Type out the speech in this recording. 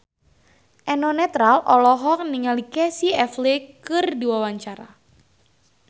Eno Netral olohok ningali Casey Affleck keur diwawancara